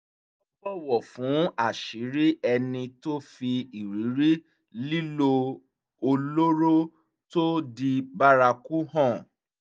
wọ́n bọ̀wọ̀ fún àṣírí ẹni tó fi ìrírí lílo olóró tó di bárakú hàn